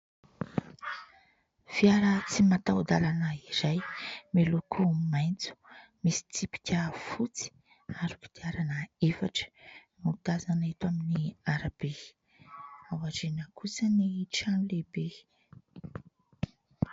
Fiara tsy mataho-dalana iray miloko maitso, misy tsipika fotsy ary kodiarana efatra, no tazana eto amin'ny arabe. Ao aoriana kosa ny trano lehibe.